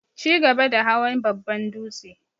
chigaba da hawan babban dūtse.